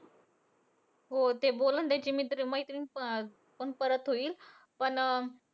हो. ते बोलणं त्यांची मित्र मैत्रीण पण अं परत होईल. पण अं